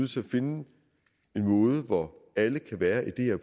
til at finde en måde hvorpå alle kan være i det her